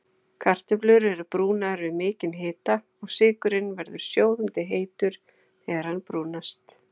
Kartöflur eru brúnaðar við mikinn hita og sykurinn verður sjóðandi heitur þegar hann brúnast.